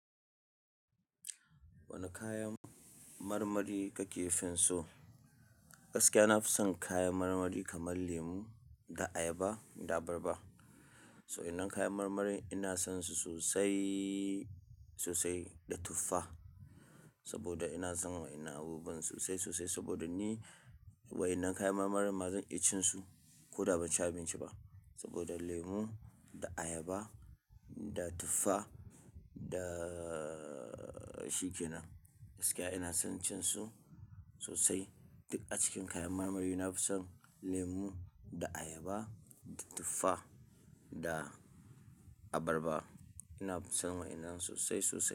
Wani kayan marmari kake san so? Gaskiya, na fi son kayan marmari kaman lemo da ayaba da abarba. Sannan kayan marmarin ina sonsu sosai, sosai da tuffa saboda ina son wannan abubuwan sosai, sosai saboda ni wa'innan kayan marmarin ma nake cinsu ko da ban ci abinci ba. Saboda lemu da ayaba da tufa da shikenan, gaskiya ina son cin su sosai. Duk a cikin kayan marmari na fi son lemu da ayaba da tuffa da abarba. Na fi son wa'innan sosai, sosai.